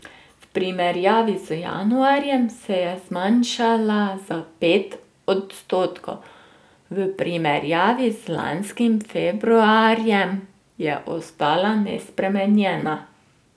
V primerjavi z januarjem se je zmanjšala za pet odstotkov, v primerjavi z lanskim februarjem je ostala nespremenjena.